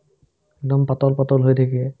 একদম পাতল পাতল হৈ থাকে